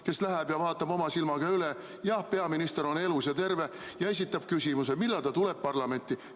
Võib-olla keegi läheb vaatab oma silmaga üle, et peaminister on elus ja terve, ning esitab talle küsimuse, millal ta tuleb parlamenti.